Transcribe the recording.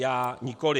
Já nikoli.